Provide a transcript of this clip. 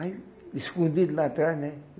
Aí, escondido lá atrás, né?